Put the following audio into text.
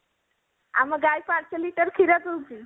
ଆମ ଗାଈ ପାଞ୍ଚ liter କ୍ଷୀର ପିଉଛି